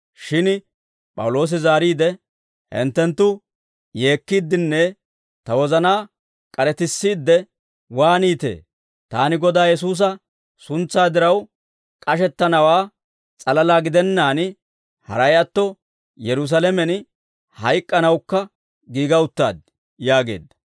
Shin P'awuloosi zaariide, «Hinttenttu yeekkiiddenne ta wozanaa k'aretissiidde waaniitee? Taani Godaa Yesuusa suntsaa diraw k'ashettanawaa s'alalaa gidennaan, haray atto Yerusaalamen hayk'k'anawukka giiga uttaad» yaageedda.